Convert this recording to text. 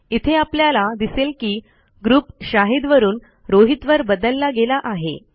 इथे आपल्याला दिसेल की ग्रुप शाहीद वरून रोहितवर बदलला गेला आहे